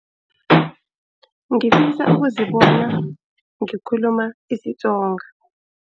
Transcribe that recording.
Ngifisa ukuzibona ngikhuluma isiTsonga.